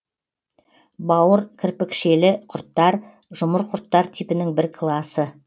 бауыркірпікшелі құрттар жұмыр құрттар типінің бір класы